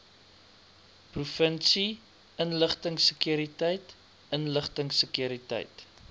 provinsie inligtingsekuriteit inligtingsekuriteit